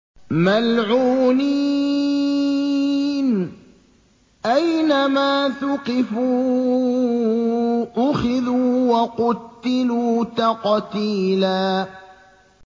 مَّلْعُونِينَ ۖ أَيْنَمَا ثُقِفُوا أُخِذُوا وَقُتِّلُوا تَقْتِيلًا